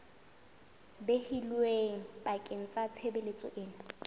behilweng bakeng sa tshebeletso ena